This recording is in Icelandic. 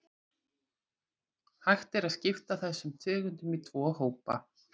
Hægt er að skipta þessum tegundum í tvo hópa.